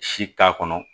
Si t'a kɔnɔ